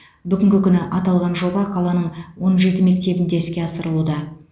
бүгінгі күні аталған жоба қаланың он жеті мектебінде іске асырылуда